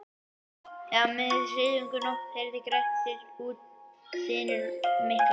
Og er af myndi þriðjungur af nótt heyrði Grettir út dynur miklar.